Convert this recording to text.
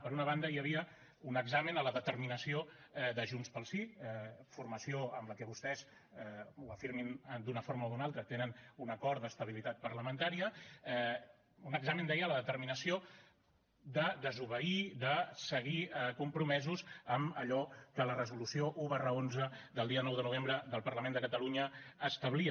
per una banda hi havia un examen a la determinació de junts pel sí formació amb la qual vostès ho afirmin d’una forma o una altra tenen un acord d’estabilitat parlamentària un examen deia a la determinació de desobeir de seguir compromesos amb allò que la resolució un xi del dia nou de novembre del parlament de catalunya establia